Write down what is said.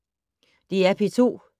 DR P2